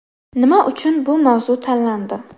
Nima uchun bu mavzu tanlandi ?